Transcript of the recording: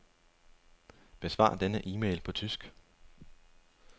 Besvar denne e-mail på tysk.